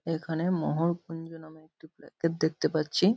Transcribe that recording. এখানে মহরকুঞ্জ নামে একটি দেখতে পাচ্ছি।